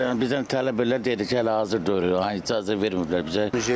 Yəni bizdən tələb eləyirlər, dedilər ki, hələ icazə verməyiblər bizə.